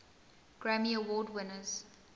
grammy award winners